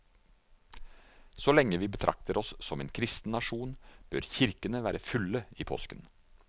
Så lenge vi betrakter oss som en kristen nasjon bør kirkene være fulle i påsken.